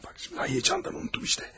Vay, heyecandan unutdum işte.